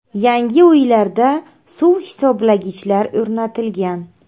Yangi uylarda suv hisoblagichlar o‘rnatilgan.